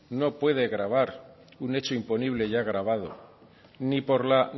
no puede gravar un hecho imponible ya gravado ni por la